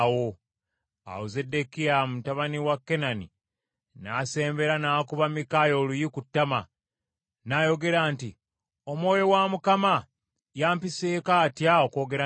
Awo Zeddekiya mutabani wa Kenaana n’asembera n’akuba Mikaaya oluyi ku ttama, n’ayogera nti, “Omwoyo wa Mukama yampiseeko atya okwogera nawe?”